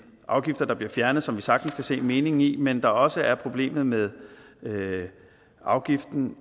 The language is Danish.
afgifter der bliver fjernet som vi sagtens kan se meningen i men der også er problemet med afgiften